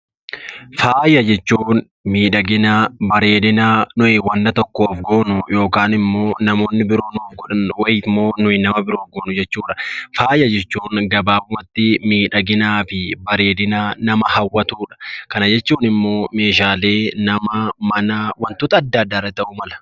Faaya jechuun miidhagina, bareedina nuyi wanna tokkoon goonu yookaan immoo namoonni biroon godhan yookaan nuyi nama biroo goonu jechuu dha. Faaya jechuun gabaabaatti miidhagina, bareedina nama hawwatu dha. Kana jechuun immoo meeshaalee nama, mana, wantoota adda addaa irra ta'uu mala.